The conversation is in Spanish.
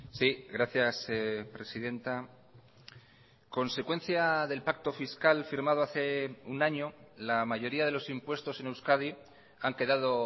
sí gracias presidenta consecuencia del pacto fiscal firmado hace un año la mayoría de los impuestos en euskadi han quedado